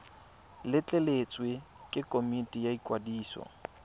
letleletswe ke komiti ya ikwadiso